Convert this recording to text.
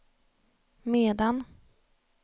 medan